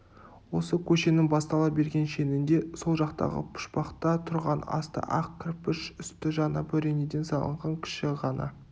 осы көшенің бастала берген шенінде сол жақтағы пұшпақта тұрған асты ақ кірпіш үсті жаңа бөренеден салынған кіші ғана